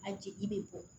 A jeli be bɔ